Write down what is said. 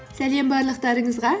сәлем барлықтарыңызға